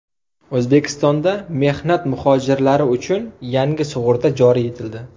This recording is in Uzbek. O‘zbekistonda mehnat muhojirlari uchun yangi sug‘urta joriy etildi.